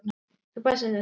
Þú passar þig á þeim.